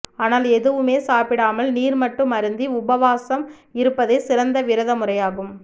ஆனால் எதுவுமே சாப்பிடாமல் நீர் மட்டும் அருந்தி உபவாசம் இருப்பதே சிறந்த விரத முறையாகும்